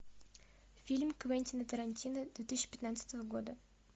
фильм квентина тарантино две тысячи пятнадцатого года